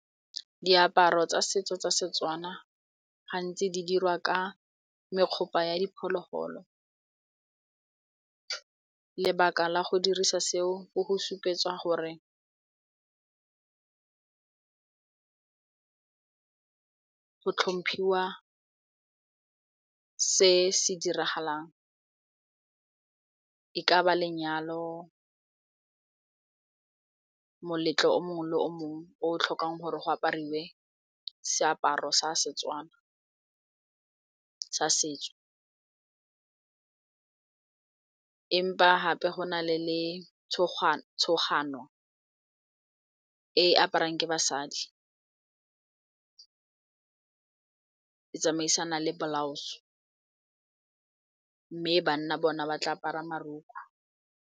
Diaparo tsa setso tsa Setswana gantsi di dirwa ka mekgopa ya diphologolo lebaka la go dirisa seo ke go supetsa gore go tlhomphiwa se se diragalang, e ka ba lenyalo moletlo o mongwe le o mongwe o tlhokang gore go apariwe seaparo sa Setswana sa setso empa gape go na e aparang ke basadi e tsamaisana le blouse mme banna bona ba tla apara marokgo.